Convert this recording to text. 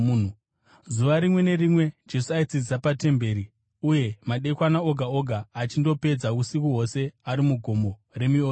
Zuva rimwe nerimwe Jesu aidzidzisa patemberi, uye madekwana oga oga achindopedza usiku hwose ari muGomo reMiorivhi,